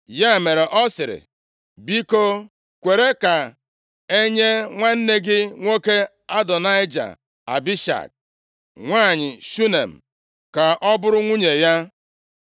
Ya mere ọ sịrị, “Biko, kwere ka enye nwanne gị nwoke Adonaịja Abishag nwanyị Shunem, ka ọ bụrụ nwunye ya.”